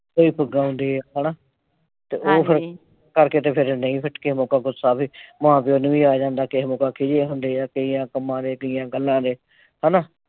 ਉਹੀ ਪਗਾਉਂਦੇ ਹਨਾ। ਹਾਂਜੀ ਤੇ ਉਹ ਕਰਕੇ ਤੇ ਫਿਰ . ਪਿੱਟ ਕੇ ਮੌਕਾ ਗੁੱਸਾ ਆਵੇ। ਮਾਂ ਪਿਓ ਨੂੰ ਵੀ ਆ ਜਾਂਦਾ ਕਿਸੇ ਦਾ ਕੁਛ ਹੋਣ ਡੈ, ਕਈਆਂ ਕੰਮਾਂ ਦੇ, ਕਈਆਂ ਗੱਲਾਂ ਦੇ ਹਨਾ।